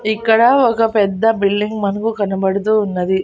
ఇక్కడ ఒక పెద్ద బిల్డింగ్ మనకు కనబడుతూ ఉన్నది.